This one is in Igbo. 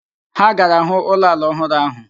Ha gara hụ ụlọ ala ọhụrụ ahụ